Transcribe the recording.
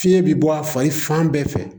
Fiɲɛ bɛ bɔ a fa ye fan bɛɛ fɛ